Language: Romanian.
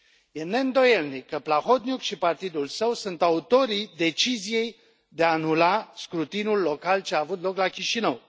Este neîndoielnic că Plahotniuc și partidul său sunt autorii deciziei de a anula scrutinul local ce a avut loc la Chișinău.